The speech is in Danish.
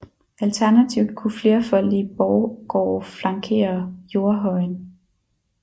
Alternativt kunne flerfoldige borggårde flankere jordhøjen